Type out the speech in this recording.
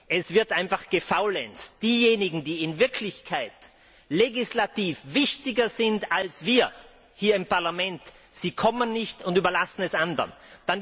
Es wird einfach gefaulenzt. Diejenigen, die in Wirklichkeit legislativ wichtiger sind als wir hier im Parlament, sie kommen nicht und überlassen die Anwesenheit anderen.